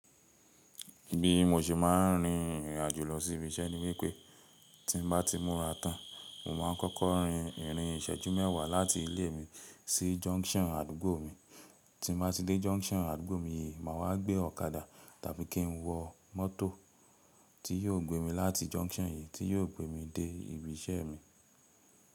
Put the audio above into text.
Bí mo ṣe máa ń rin ìrìn àjò lọ sí ibi iṣẹ́ ni wípẹ́ tí mbá ti múra tán, mo máa ń kọ́kọ́ rin ìrìn ìṣẹ́jú mẹ́wàá láti ilé mi sí junction àdúgbò mi, tí mbá ti dé junction àdúgbò mi yìí, màá wá gbé ọ̀kadà tàbí kí n wọ mọ́tò tí yóò gbé mi láti junction yìí tí yóò gbé mi dé ibi iṣẹ́ mi.